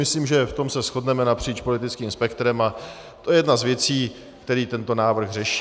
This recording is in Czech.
Myslím, že v tom se shodneme napříč politickým spektrem, a to je jedna z věcí, kterou tento návrh řeší.